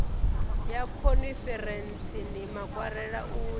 ya khonferentsini makwarela u ya